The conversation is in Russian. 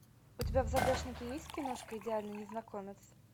у тебя в загашнике есть киношка идеальный незнакомец